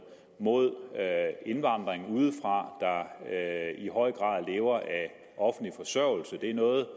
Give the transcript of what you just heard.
mod indvandrere udefra der i høj grad lever af offentlig forsørgelse det er noget